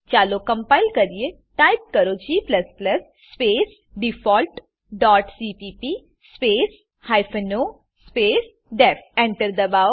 ચાલો કમ્પાઈલ કરીએ ટાઈપ કરો g space default dot CPP space hyphen O space DEF Enter દબાવો